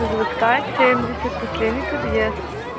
заводская семьдесят последний подъезд